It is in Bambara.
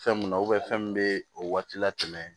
Fɛn mun na fɛn min bɛ o waati la tɛmɛ